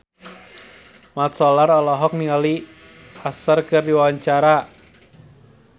Mat Solar olohok ningali Usher keur diwawancara